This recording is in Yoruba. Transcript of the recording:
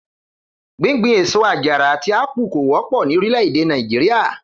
Gbíngbin èso àjàrà àti ápù kò wó̩pò̩ ní orílè̩-èdè Nàìjíríà